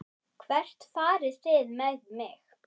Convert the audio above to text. Hvert farið þið með mig?